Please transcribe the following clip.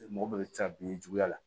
Mɔgɔ bɛɛ bɛ taa bin juguya la